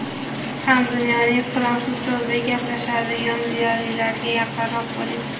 Siz ham dunyoning fransuz tilida gaplashadigan ziyolilariga yaqinroq bo‘ling.